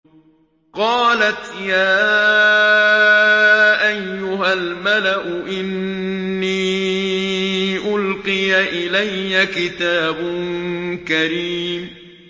قَالَتْ يَا أَيُّهَا الْمَلَأُ إِنِّي أُلْقِيَ إِلَيَّ كِتَابٌ كَرِيمٌ